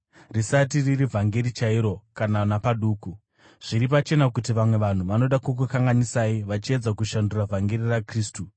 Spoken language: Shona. risati riri vhangeri chairo kana napaduku. Zviri pachena kuti vamwe vanhu vanoda kukukanganisai vachiedza kushandura vhangeri raKristu.